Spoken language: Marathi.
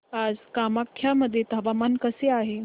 आज कामाख्या मध्ये हवामान कसे आहे